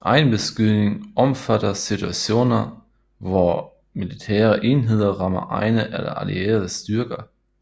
Egenbeskydning omfatter situationer hvor militære enheder rammer egne eller allierede styrker